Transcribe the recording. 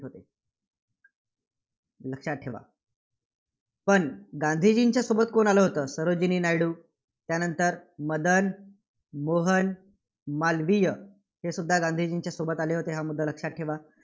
लक्षात ठेवा. पण गांधीजीच्या सोबत कोण होतं? सरोजिनी नायडू. त्यानंतर मदन मोहन मालवीय हेसुद्धा गांधीजींच्या सोबत आले होते. हा मुद्दा लक्षात ठेवा.